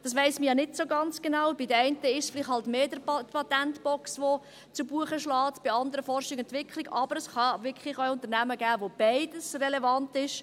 Das weiss man ja nicht ganz genau, bei den einen ist es vielleicht mehr die Patentbox, die zu Buche schlägt, bei den anderen Forschung und Entwicklung, aber es kann wirklich auch Unternehmen geben, bei denen beides relevant ist.